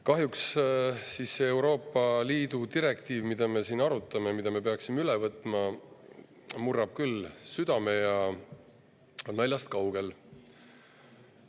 Kahjuks see Euroopa Liidu direktiiv, mida me siin arutame ja mille me peaksime üle võtma, murrab küll südame ja asi on naljast kaugel.